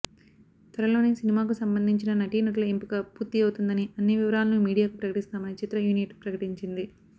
త్వరలోనే సినిమాకు సంబంధించిన నటీనటుల ఎంపిక పూర్తి అవుతుందని అన్ని వివరాలను మీడియాకు ప్రకటిస్తామని చిత్ర యూనిట్ ప్రకటించింది